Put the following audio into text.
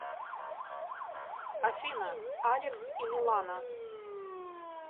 афина алекс и милана